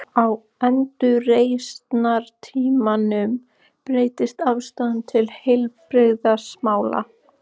Á endurreisnartímanum breyttist afstaðan til heilbrigðismála.